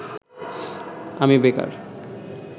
আমি বেকার